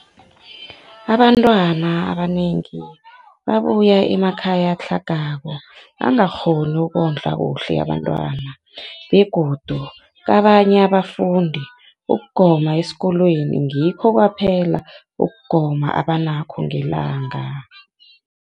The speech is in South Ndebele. Abantwana abanengi babuya emakhaya atlhagako angakghoni ukondla kuhle abentwana, begodu kabanye abafundi, ukugoma kwesikolweni ngikho kwaphela ukugoma abanakho ngelanga.